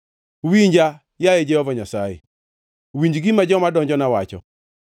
Winja, yaye Jehova Nyasaye; winj gima joma donjona wacho!